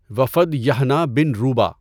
وفد یحنہ بن روبہ